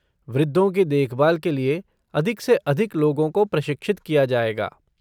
वृद्धों की देखभाल के लिए अधिक से अधिक लोगों को प्रशिक्षित किया जाएगा।